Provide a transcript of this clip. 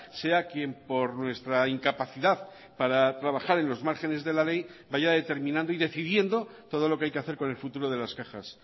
sea quien por nuestra incapacidad para trabajar en los márgenes de la ley vaya determinando y decidiendo todo lo que hay que hacer con el futuro de las cajas